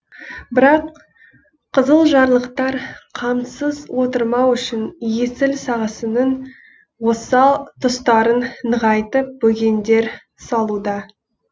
бірақ қызылжарлықтар қамсыз отырмау үшін есіл сағасының осал тұстарын нығайтып бөгендер салуда